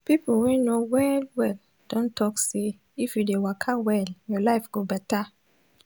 pipo wey know well well don talk say if you dey waka well your life go better